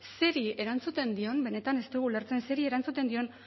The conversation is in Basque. zeri erantzuten dion benetan ez dugu ulertzen zeri erantzuten dion